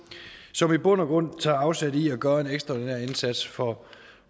som i bund og grund tager afsæt i at gøre en ekstraordinær indsats for